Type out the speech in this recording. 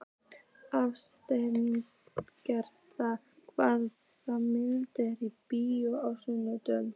Aðalsteina, hvaða myndir eru í bíó á sunnudaginn?